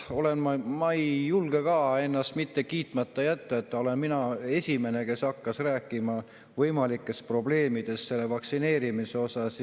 Ma ei julge ka ennast kiitmata jätta: mina olin esimene, kes hakkas rääkima võimalikest probleemidest vaktsineerimisega seoses.